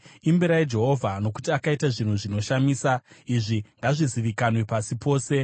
Imbirai Jehovha, nokuti akaita zvinhu zvinoshamisa; izvi ngazvizivikanwe pasi pose.